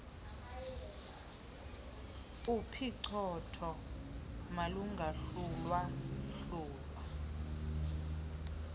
uphicothoo malungohlulwa hlulwa